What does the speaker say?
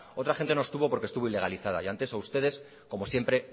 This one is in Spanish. otra gente no estuvo porque estuvo ilegalizada y ante eso ustedes como siempre